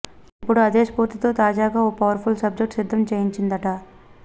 ఇప్పుడు అదే స్పూర్తితో తాజాగా ఓ పవర్ఫుల్ సబ్జెక్ట్ సిద్ధం చేయించిందట